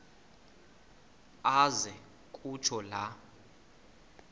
aze kutsho la